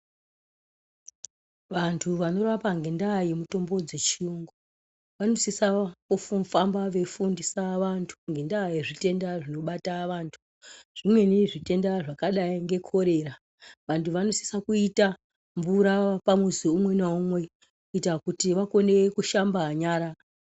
Vantu vanorapa ngendaa yemutombo dzechiyungu vanosisa kufamba veifundisa vantu ngenyaya yezvitenda zvinobata vantu. Zvimweni zvitenda zvakadai ngekorera vantu vanosisa kuita mvura pamuzi umwe naumwe kuita kuti vakona kushamba nyara.